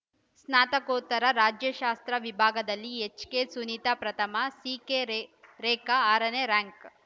ಸ್ನಾತಕೋತ್ತರ ರಾಜ್ಯಶಾಸ್ತ್ರ ವಿಭಾಗದಲ್ಲಿ ಎಚ್‌ಕೆಸುನಿತಾ ಪ್ರಥಮ ಸಿಕೆರೇಖಾ ಆರ ನೇ ರ್‍ಯಾಯಂಕ್‌